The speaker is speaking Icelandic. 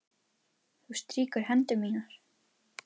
Þú strýkur hendur mínar.